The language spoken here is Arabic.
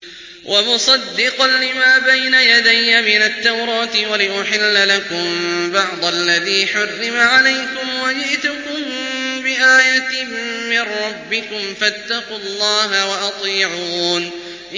وَمُصَدِّقًا لِّمَا بَيْنَ يَدَيَّ مِنَ التَّوْرَاةِ وَلِأُحِلَّ لَكُم بَعْضَ الَّذِي حُرِّمَ عَلَيْكُمْ ۚ وَجِئْتُكُم بِآيَةٍ مِّن رَّبِّكُمْ فَاتَّقُوا اللَّهَ وَأَطِيعُونِ